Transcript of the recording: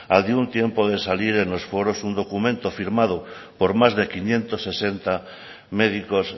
al de un tiempo de salir en los foros un documento firmado por más de quinientos sesenta médicos